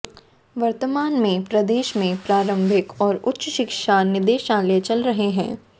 वर्तमान में प्रदेश में प्रारंभिक और उच्च शिक्षा निदेशालय चल रहे हैं